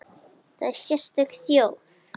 Þetta er sérstök þjóð.